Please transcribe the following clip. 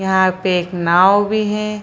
यहां पे एक नाव भी है।